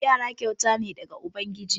Yara kyauta ne daga ubangiji.